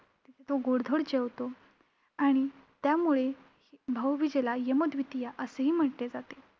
तो गोडधोड जेवतो आणि त्यामुळे भाऊबीजेला यमद्वितीया असेही म्हटले जाते.